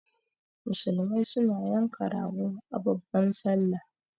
Musulmai su na yanka rago da babban sallah